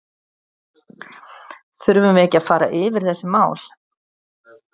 Þurfum við ekki að fara yfir þessi mál?